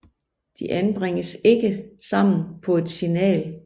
De anbringes ikke sammen på et signal